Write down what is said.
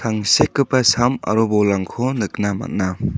tangsekgipa sam aro bolrangko nikna man·a.